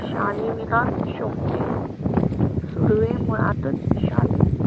शाली शोभते. सुर्वे मुळा तच शाली.